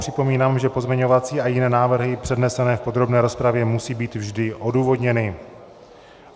Připomínám, že pozměňovací a jiné návrhy přednesené v podrobné rozpravě musí být vždy odůvodněny.